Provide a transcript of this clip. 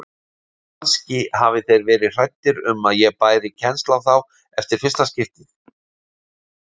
Kannski hafi þeir verið hræddir um að ég bæri kennsl á þá eftir fyrsta skiptið.